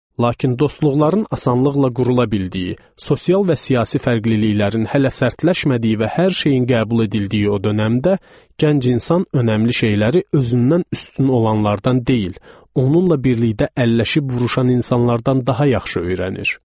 Lakin dostluqların asanlıqla qurula bildiyi, sosial və siyasi fərqliliklərin hələ sərtləşmədiyi və hər şeyin qəbul edildiyi o dömdə gənc insan əhəmiyyətli şeyləri özündən üstün olanlardan deyil, onunla birlikdə əlləşib vuruşan insanlardan daha yaxşı öyrənir.